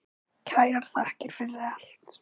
Kærar þakkir fyrir allt.